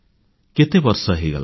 କେତେବର୍ଷ ହୋଇଗଲାଣି